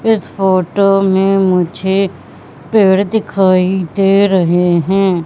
इस फोटो में मुझे पेड़ दिखाई दे रहे हैं।